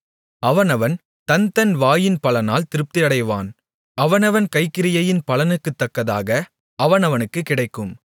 அவனவன் தன் தன் வாயின் பலனால் திருப்தியடைவான் அவனவன் கைக்கிரியையின் பலனுக்குத்தக்கதாக அவனவனுக்குக் கிடைக்கும்